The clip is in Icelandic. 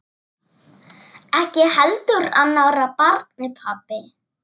Ekki heldur annarra barna pabbi.